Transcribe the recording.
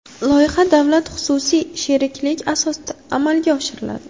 Loyiha davlat-xususiy sheriklik asosida amalga oshiriladi.